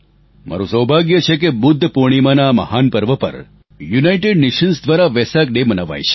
મારું સૌભાગ્ય છે કે બુદ્ધ પૂર્ણિમાના આ મહાન પર્વ પર યુનાઇટેડ નેશન્સ દ્વારા વેસક ડે મનાવાય છે